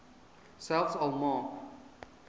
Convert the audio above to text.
selfs al maak